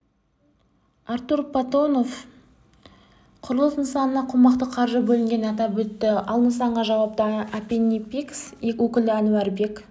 артур платонов құрылыс нысанына қомақты қаржы бөлінгенін атап өтті ал нысанға жауапты апинпекс өкілі әнуарбек